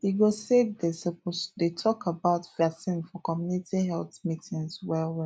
e go say dey suppose dey talk about vaccine for community health meetings well well